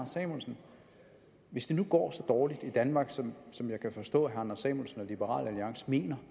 samuelsen hvis det nu går så dårligt i danmark som som jeg kan forstå herre anders samuelsen og liberal alliance mener